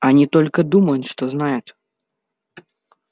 они только думают что знают